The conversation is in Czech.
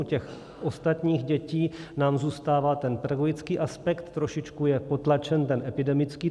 U těch ostatních dětí nám zůstává ten pedagogický aspekt, trošičku je potlačen ten epidemický.